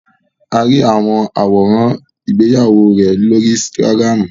A ri awọn aworan igbeyawo rẹ lori ínsìtágirámu